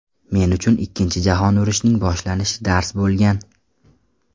Men uchun Ikkinchi jahon urushining boshlanishi dars bo‘lgan.